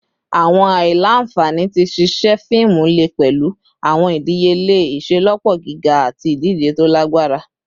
Awọn aila-nfani ti ṣiṣe fiimu le pẹlu awọn idiyele iṣelọpọ giga ati idije to lagbara